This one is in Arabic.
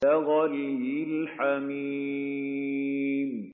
كَغَلْيِ الْحَمِيمِ